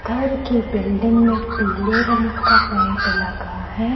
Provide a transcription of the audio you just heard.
घर की बिलडिंग में पीले रंग का पेंट लगा है ।